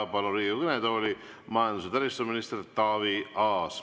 Palun Riigikogu kõnetooli majandus‑ ja taristuminister Taavi Aasa.